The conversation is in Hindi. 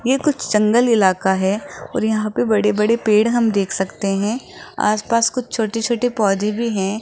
ये कुछ जंगल इलाका है और यहां पे बड़े बड़े पेड़ हम देख सकते है आसपास कुछ छोटे छोटे पौधे भी हैं।